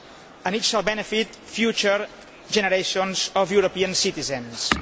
It will benefit future generations of European citizens.